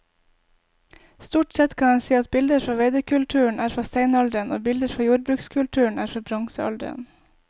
Stort sett kan en si at bilder fra veidekulturen er fra steinalderen og bilder fra jordbrukskulturen er fra bronsealderen.